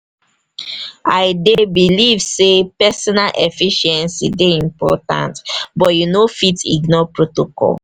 i dey believe say pesinal efficiency dey important but you no fit ignore protocol.